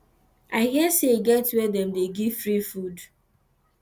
i hear say e get where dem dey give free food